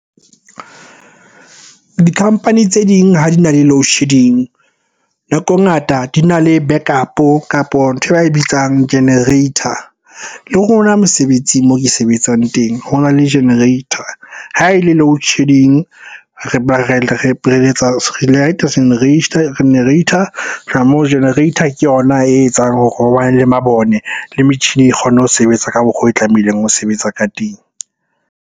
Di-company tse ding ha di na le loadshedding, nako e ngata di na le backup-o kapo nthwe ba e bitsang generator. Le rona mosebetsing moo ke sebetsang teng ho na le generator. Ha e le loadshedding, re light-a generator. Ho tloha moo generator ke yona e etsang hore ho bane le mabone le metjhini e kgone ho sebetsa ka mokgo e tlamehileng ho sebetsa ka teng.